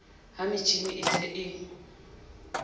ha metjhini e se e